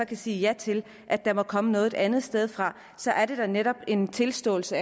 kan sige ja til at der må komme noget lovgivning et andet sted fra så er det da netop en tilståelse